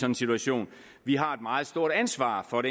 en situation har et meget stort ansvar for